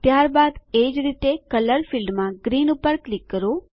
ત્યારબાદ એજ રીતે કલર ફીલ્ડમાં ગ્રીન પર ક્લિક કરો